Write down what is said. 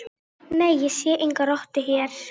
Nei, ég sé enga rottu hér